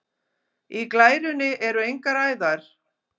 Í glærunni eru engar æðar.